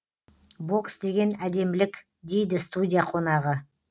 бокс деген әдемілік дейді студия қонағы